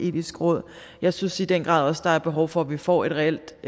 etiske råd jeg synes i den grad også der er behov for at vi får et reelt